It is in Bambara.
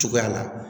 Cogoya la